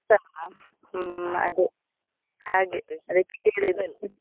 ಬರ್ತಾರಾ ಹ್ಮ್ ಅದೇ, ಹಾಗೆ .